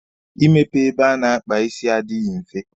Ị mepe ebe a na-akpa isi adịghị mfe.